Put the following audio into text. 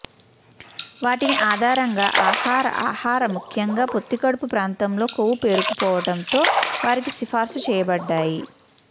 వాటిని ఆధారంగా ఆహార ఆహార ముఖ్యంగా పొత్తికడుపు ప్రాంతంలో కొవ్వు పేరుకుపోవడంతో వారికి సిఫారసు చేయబడ్డాయి